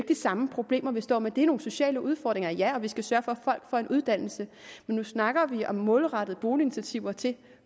de samme problemer vi står med det er nogle sociale udfordringer ja og vi skal sørge for at folk får en uddannelse men nu snakker vi om målrettede boliginitiativer til